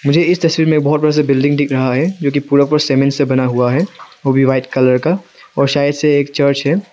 मुझे इस तस्वीर में बहुत बड़ा सा बिल्डिंग दिख रहा है जो कि पूरा पूरा सीमेंट से बना हुआ है और वह भी व्हाइट कलर का और शायद से एक चर्च है।